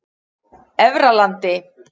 Efralandi